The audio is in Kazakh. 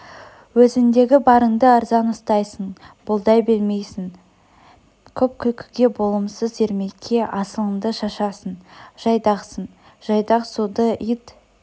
өзіңдегі барыңды арзан ұстайсың бұлдай білмейсің көп күлкіге болымсыз ермекке асылыңды шашасың жайдақсың жайдақ суды ит